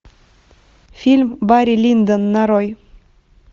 фильм барри линдон нарой